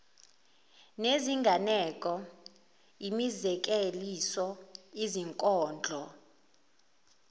nezinganeko imizekeliso izinkondlo